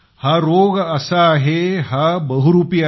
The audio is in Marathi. हा रोग असा आहे हा बहुरूपी आहे